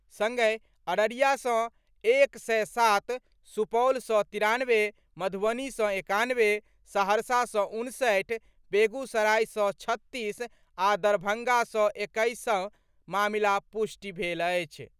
संगहि अररिया सँ एक सय सात, सुपौल सँ तिरानवे, मधुबनी सँ एकानवे, सहरसा सँ उनसठि, बेगूसराय सँ छत्तीस आ दरभंगा सँ एक्कैस मामिलाक पुष्टि भेल अछि।